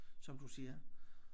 Som du siger